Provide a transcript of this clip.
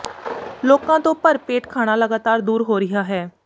ਲੋਕਾਂ ਤੋਂ ਭਰ ਪੇਟ ਖਾਣਾ ਲਗਾਤਾਰ ਦੂਰ ਹੋ ਰਿਹਾ ਹੈ